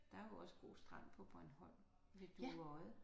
Der er jo også god strand på Bornholm ved Dueodde